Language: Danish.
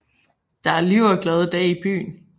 Der er liv og glade dage i byen